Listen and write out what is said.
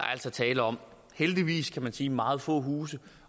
altså tale om heldigvis kan man sige meget få huse